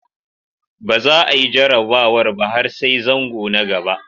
Ba za a yi jarrabawar ba har sai zango na gaba.